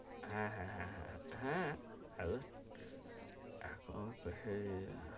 হ্যা! , হ্যা, হ্যাঁ হ্যাঁ হ্যাঁ হলেও এখন পেসাব ,